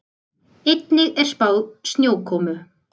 Einnig er spáð snjókomu